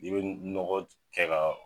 I bi nɔgɔ kɛ